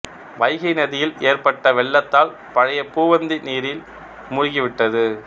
வைகை நதியில் ஏற்பட்ட வெள்ளத்தால் பழைய பூவந்தி நீரில் மூழ்கிவிட்டது